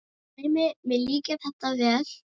Dæmi: Mér líkar þetta vel.